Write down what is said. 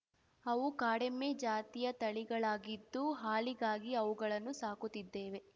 ಅವು ಕಾಡೆಮ್ಮೆ ಜಾತಿಯ ತಳಿಗಳಾಗಿದ್ದು ಹಾಲಿಗಾಗಿ ಅವುಗಳನ್ನು ಸಾಕುತ್ತಿದ್ದೇವೆ